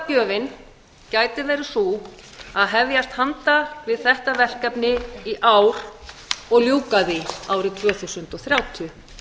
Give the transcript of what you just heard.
þjóðargjöfin gæti verið sú að hefjast handa við þetta verkefni í ár og ljúka því árið tvö þúsund og þrjátíu